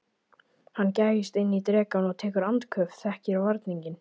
Hann gægist inn í drekann og tekur andköf, þekkir varninginn.